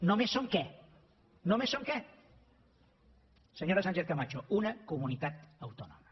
només som què només som què senyora sánchezcamacho una comunitat autònoma